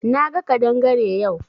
Na ga kadangare yau.